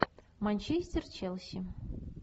манчестер челси